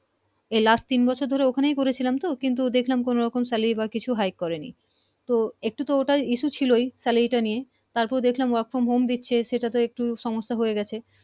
এই last তিন বছর ধরে ওখানেই করেছিলাম তো কিন্তু দেখলাম কোন রকম salaryhigh করে নি তো একটু তো issue ছিলো salary টা নিয়ে তার পর দেখলাম Work From Home সেটা তে একটু সমস্যা হয়ে গেছে